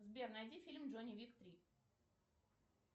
сбер найди фильм джон уик три